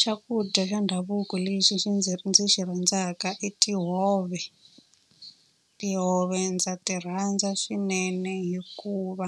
Xakudya xa ndhavuko lexi xi ndzi ndzi xi rhandzaka i tihove. Tihove ndza ti rhandza swinene hikuva